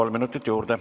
Kolm minutit juurde.